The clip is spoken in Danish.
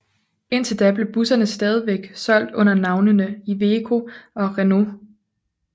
Indtil da blev busserne stadigvæk solgt under navnene Iveco og Renault